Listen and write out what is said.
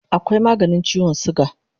Akwai maganin chiwon suga